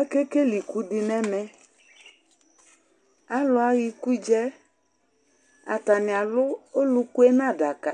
Akekele ɩkʊ dɩ nɛmɛ Alʊ aya ɩkʊɖza yɛ Atanɩ alʊ ɔlʊkʊ yɛ nadaka